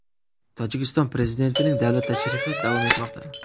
Tojikiston prezidentining davlat tashrifi davom etmoqda.